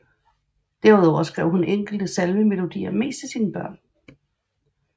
Derudover skrev hun enkelte salmemelodier mest til sine børn